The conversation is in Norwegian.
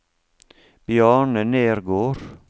Bjarne Nergård